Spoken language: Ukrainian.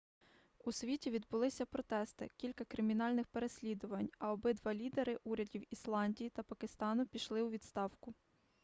у світі відбулися протести кілька кримінальних переслідувань а обидва лідери урядів ісландії та пакистану пішли у відставку